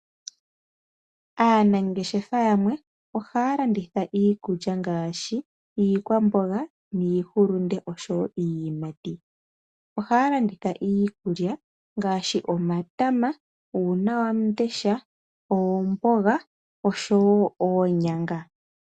Aanangeshefa yamwe ohaya landitha iikulya ngaashi iihulunde, iikwamboga oshowo niiyimati. Ohaya landitha iikulya ngaashi omatama, uunawandesha, oomboga noshowo oonyanga.